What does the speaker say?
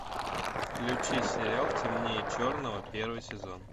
включи сериал темнее черного первый сезон